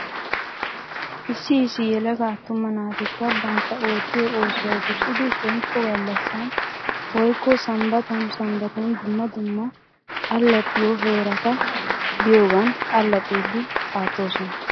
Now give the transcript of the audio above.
Issi issi yelaga atuma naatikka bantta oottiyoo oosuwaa wursside shemppo gallassan woykko sambbatan sambbatan dumma dumma allaxxiyoo heerata biyoogan allaxxiidi aattoosona.